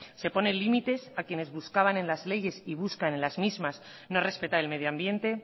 se pone límites a quienes buscaban en las leyes y buscan en las mismas no respetar el medio ambiente